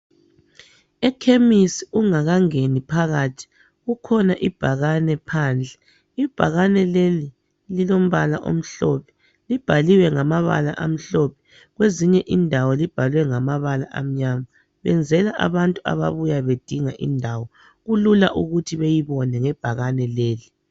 ekhemisi ungakangeni phakathi kukhona ibhakane phandle ibhakane leli lilombala omhlophe libhaliwe ngamabala amhlophe kwezinye indawo libhelwe ngamabala amnyama benzela abantu ababuya bedinga indawo kulula ukuthi beyibone ngebhakane leli